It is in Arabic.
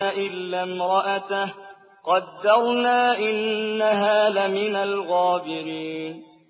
إِلَّا امْرَأَتَهُ قَدَّرْنَا ۙ إِنَّهَا لَمِنَ الْغَابِرِينَ